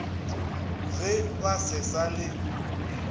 ge ba se sa le